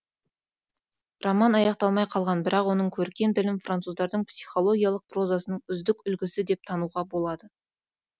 роман аяқталмай қалған бірақ оның көркем тілін француздың психологиялық прозасының үздік үлгісі деп тануға болады